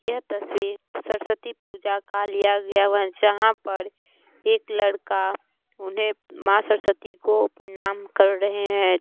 Noise यह तस्वीर सरस्वती पूजा का लिया गया हुआ जहाँ पर एक लड़का उन्हें माँ सरस्वती को प्रणाम कर रहें हैं ।